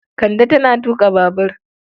Kande tana tuƙa babur.